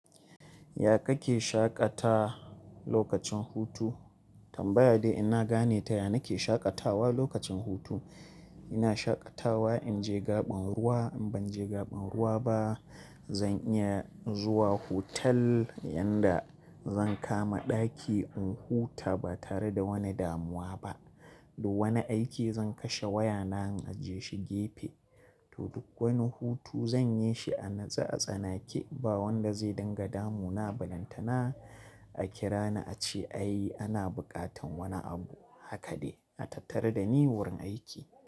Ya kake shaƙata lokacin hutu? Tambaya dai ina gane ta, ya nake shaƙatawa lokacin hutu? Ina shaƙatawa in je gaɓan ruwa, in ban je gaɓan ruwa ba zan iya zuwa hotel yanda zan kama ɗaki in huta ba tare da wani damuwa ba. Da wani aiki zan kashe wayana in aje shi gefe. To duk wani hutu zan yi shi a natse a tsanake ba wanda zai dinga damu na, barantana a kira ni a ce ai ana buƙatan wani abu. Haka dai a tattari da ni wurin aiki.